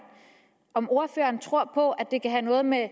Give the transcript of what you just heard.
om ordføreren tror at det kan have noget med